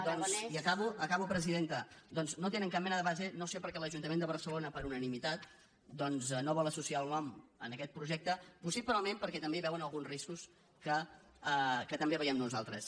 doncs ja acabo acabo presidenta no tenen cap mena de base no sé per què l’ajuntament de barcelona per unanimitat doncs no vol associar el nom en aquest projecte possiblement perquè també hi veuen alguns riscos que també veiem nosaltres